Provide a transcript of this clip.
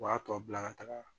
U b'a tɔ bila ka taga